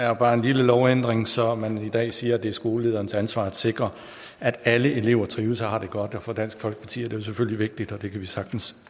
er bare en lille lovændring så man i dag siger at det er skolelederens ansvar at sikre at alle elever trives og har det godt for dansk folkeparti er det selvfølgelig vigtigt og det kan vi sagtens